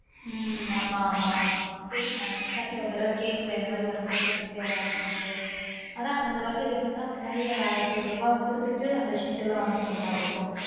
உம் ஆமா ஆமா சேரி நா நிஷா கிட்டயும்ஒரு தடவ கேக்குறன் இந்த மாதிரி work இருக்கு பன்றீயாடா அப்டிண்டு ஆனா இந்த நம்ம work க்கு எப்டினா முன்னாடியே ஆயிரத்தி ஐந்நூறு ரூபா குடுத்துட்டு அந்த sheet எல்லான் வாங்கிட்டு போர மாதிரி இருக்கும்